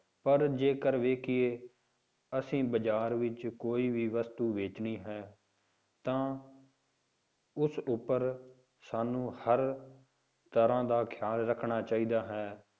ਪਰ ਜੇਕਰ ਵੇਖੀਏ ਅਸੀਂ ਬਾਜ਼ਾਰ ਵਿੱਚ ਕੋਈ ਵੀ ਵਸਤੂ ਵੇਚਣੀ ਹੈ ਤਾਂ ਉਸ ਉੱਪਰ ਸਾਨੂੰ ਹਰ ਤਰ੍ਹਾਂ ਦਾ ਖਿਆਲ ਰੱਖਣਾ ਚਾਹੀਦਾ ਹੈ।